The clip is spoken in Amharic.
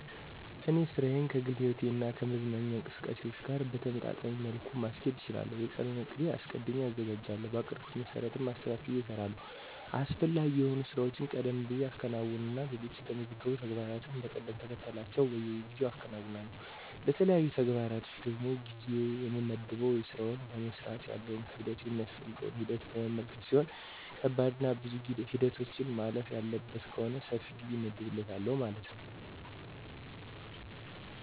እኔ ሥራዬን ከግል ሕይወቴ እና ከመዝናኛ እንቅስቃሴዎች ጋር በተመጣጣኝ መልኩ ማስኬድ እችላለሁ። የቀኑን ዕቅድ አስቀድሜ አዘጋጃለሁ, በአቀድኩት መሰረትም አስተካክየ እሰራለሁ። አስፈላጊ የሆኑ ሥራዎችን ቀደም ብየ አከናውንና ሌሎች የተመዘገቡ ተግባሮችን እንደ ቅደምተከተላቸው በጊዜ አከናውናለሁ። ለተለያዩ ተግባሮች ደግሞ ጊዜ የምመድበው የስራውን ለመስራት ያለውን ክብደቱን ,የሚያስፈልገውን ሂደት በመመልከት ሲሆን ከባድና ብዙ ሂደቶችን ማለፍ ያለበት ከሆነ ሰፊ ጊዜ እመድብለታለሁ ማለት ነው።